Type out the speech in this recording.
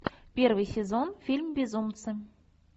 первый сезон фильм безумцы